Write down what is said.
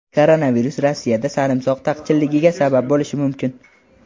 Koronavirus Rossiyada sarimsoq taqchilligiga sabab bo‘lishi mumkin.